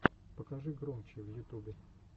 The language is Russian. покажи громчи в ютубе